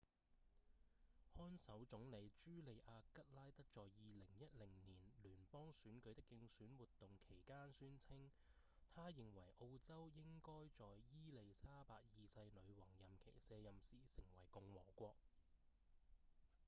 看守總理茱莉亞‧吉拉德在2010年聯邦選舉的競選活動期間宣稱她認為澳洲應該在伊莉莎白二世女王任期卸任時成為共和國